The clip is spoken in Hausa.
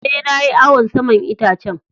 Eh, na yi awon saman itacen.